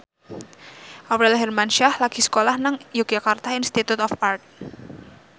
Aurel Hermansyah lagi sekolah nang Yogyakarta Institute of Art